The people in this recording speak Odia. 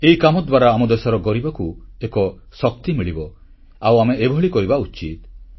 ଏହି କାମ ଦ୍ୱାରା ଆମ ଦେଶର ଗରିବକୁ ଏକ ଶକ୍ତି ମିଳିବ ଆଉ ଆମେ ଏଭଳି କରିବା ଉଚିତ